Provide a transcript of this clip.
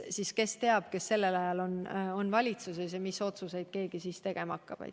Aga kes seda teab, kes sellel ajal on valitsuses ja mis otsuseid keegi tegema hakkab.